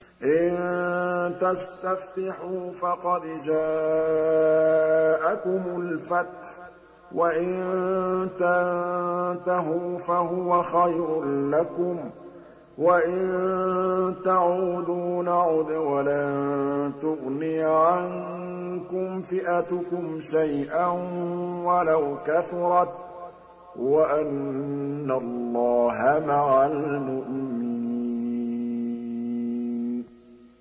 إِن تَسْتَفْتِحُوا فَقَدْ جَاءَكُمُ الْفَتْحُ ۖ وَإِن تَنتَهُوا فَهُوَ خَيْرٌ لَّكُمْ ۖ وَإِن تَعُودُوا نَعُدْ وَلَن تُغْنِيَ عَنكُمْ فِئَتُكُمْ شَيْئًا وَلَوْ كَثُرَتْ وَأَنَّ اللَّهَ مَعَ الْمُؤْمِنِينَ